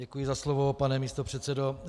Děkuji za slovo, pane místopředsedo.